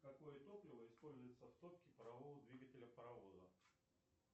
какое топливо используется в топке парового двигателя паровоза